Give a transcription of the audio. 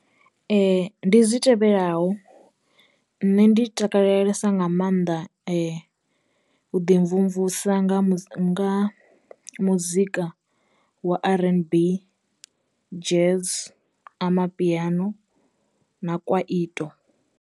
Ndi zwi tevhelaho, nṋe ndi takalelesa nga maanḓa u ḓi mvumvusa nga mu nga muzika wa R_N_B, jazz, amapiano na kwaito.